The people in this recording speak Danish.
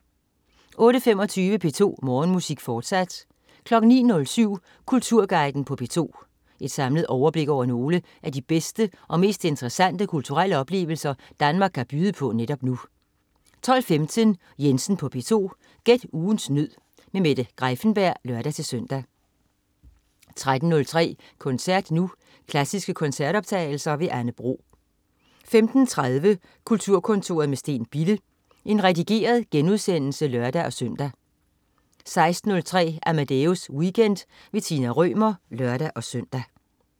08.25 P2 Morgenmusik, fortsat 09.07 Kulturguiden på P2. Et samlet overblik over nogle af de bedste og mest interessante kulturelle oplevelser Danmark kan byde på netop nu 12.15 Jensen på P2. Gæt ugens nød. Mette Greiffenberg (lør-søn) 13.03 Koncert Nu. Klassiske koncertoptagelser. Anne Bro 15.30 Kulturkontoret med Steen Bille. Redigeret genudsendelse (lør-søn) 16.03 Amadeus Weekend. Tina Rømer (lør-søn)